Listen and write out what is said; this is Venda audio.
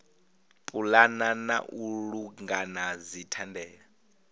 pulana na u langula dzithandela